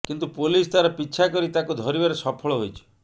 କିନ୍ତୁ ପୋଲିସ ତାର ପିଛା କରି ତାକୁ ଧରିବାରେ ସଫଳ ହୋଇଛି